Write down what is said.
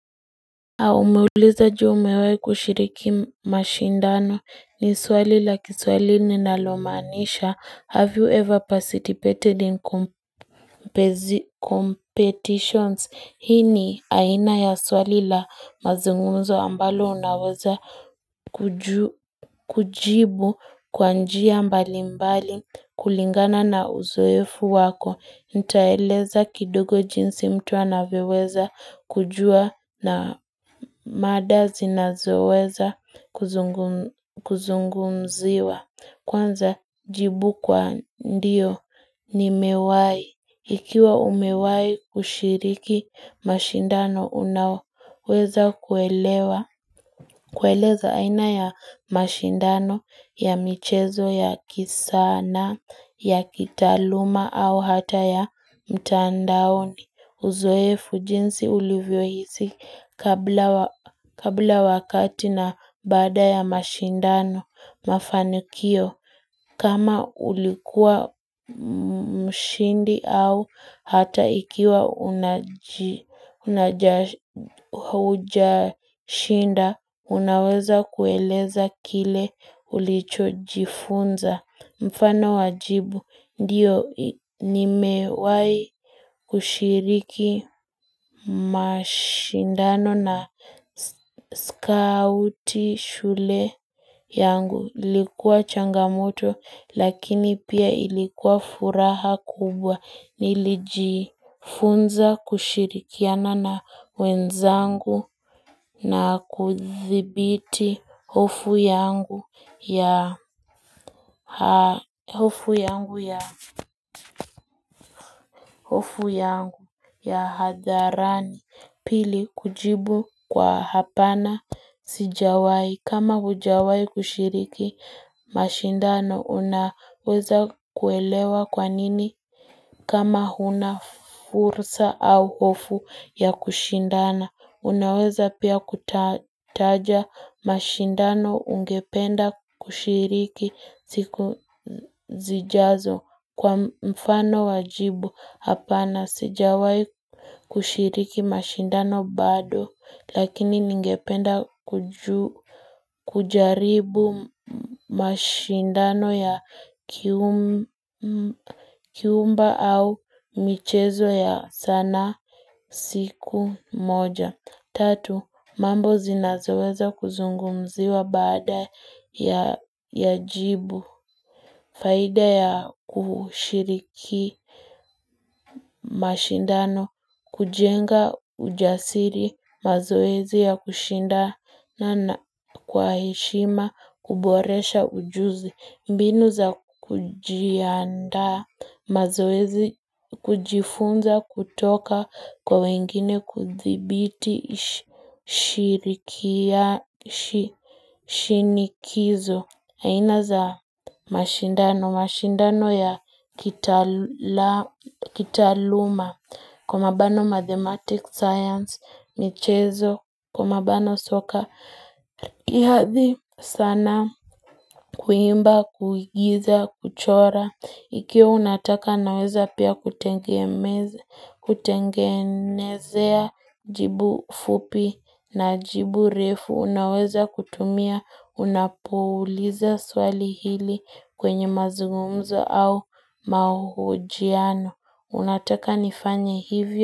Umeulizwa, je, umewahi kushiriki mashindano ni swali la kiswahili linalomaanisha have you ever participated in competitions hii ni aina ya swali la mazungumzo ambalo unaweza kujibu kwa njia mbalimbali kulingana na uzoefu wako nitaeleza kidogo jinsi mtu anavyoweza kujua na mada zinazoweza kuzungumziwa, kwanza jibu kwa ndiyo nimewahi. Ikiwa umewahi kushiriki mashindano, unaweza kuelewa kueleza aina ya mashindano, ya michezo, ya kisanaa, ya kitaaluma au hata ya mtandaoni. Uzoefu jinsi ulivyohisi kabla wakati na baada ya mashindano mafanikio kama ulikuwa mshindi au hata ikiwa haujashinda unaweza kueleza kile ulichojifunza. Mfano wa jibu ndiyo nimewahi kushiriki mashindano na skauti shule yangu ilikuwa changamoto lakini pia ilikuwa furaha kubwa. Nilijifunza kushirikiana na wenzangu na kuthibiti hofu yangu hofu yangu ya hadharani pili kujibu kwa hapana Sijawahi kama hujawahi kushiriki mashindano unaweza kuelewa kwa nini kama huna fursa au hofu ya kushindana. Unaweza pia kutaja mashindano ungependa kushiriki siku zijazo kwa mfano wa jibu hapana. Sijawahi kushiriki mashindano bado lakini ningependa kujaribu mashindano ya kiumba au michezo ya sanaa siku moja. Tatu, mambo zinazoweza kuzungumziwa baada ya ya jibu, faida ya kushiriki mashindano, kujenga ujasiri, mazoezi ya kushinda na kwa heshima, kuboresha ujuzi. Mbinu za kujiandaa mazoezi kujifunza kutoka kwa wengine kuthibiti shirikia shinikizo aina za mashindano, mashindano ya kitaaluma Kwa mabano mathematics science, michezo, kwa mabano soka riadha sanaa kuimba, kuigiza, kuchora, ikiwa unataka naweza pia kutengenezea jibu fupi na jibu refu, unaweza kutumia unapouliza swali hili kwenye mazungumzo au mahojiano, unataka nifanye hivyo.